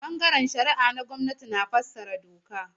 Ɓangaren shari'a na gwamnati na fassara doka.